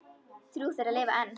Þrjú þeirra lifa enn.